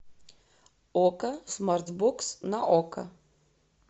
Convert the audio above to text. окко смарт бокс на окко